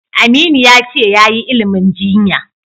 Aminu ya ce yayi ilimin jinya.